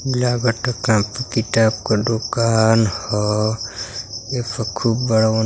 लागता कॉपी किताब क दुकान ह। एफ खूब बड़ा बन --